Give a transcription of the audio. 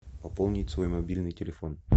пополнить свой мобильный телефон